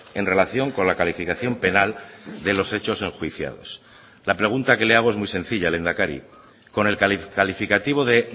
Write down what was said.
en relación con la calificación penal de los hechos enjuiciados la pregunta que le hago es muy sencilla lehendakari con el calificativo de